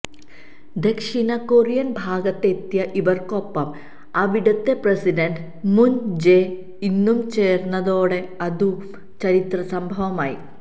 ദക്ഷിണകൊറിയൻ ഭാഗത്തെത്തിയ ഇവർക്കൊപ്പം അവിടത്തെ പ്രസിഡന്റ് മുൻ ജേ ഇന്നും ചേർന്നതോടെ അതും ചരിത്രസംഭവമായി